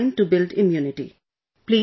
It takes time to build immunity